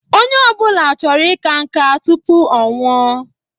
Onye ọbụla chọrọ ika nka tụpụ ọnwụ o